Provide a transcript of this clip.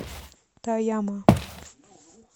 тояма